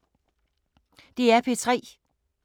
DR P3